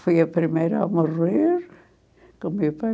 Foi a primeira a morrer, com o meu pai.